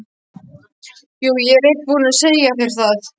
Jú, ég er búinn að segja þér það.